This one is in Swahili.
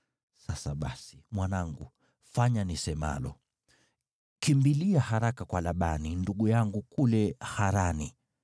Sasa basi, mwanangu, fanya nisemalo: Kimbilia haraka kwa Labani ndugu yangu kule Harani.